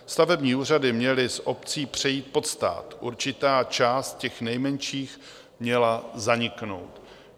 Stavební úřady měly z obcí přejít pod stát, určitá část těch nejmenších měla zaniknout.